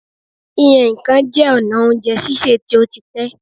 Yíyan nǹkan jẹ́ ọ̀nà oújẹ sísè tí ó ti pẹ́.